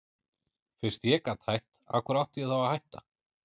Fyrst ég gat hætt, af hverju átti ég þá að hætta?